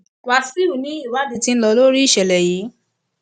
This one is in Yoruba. wàṣíù ni ìwádìí ti ń lọ lórí ìṣẹlẹ yìí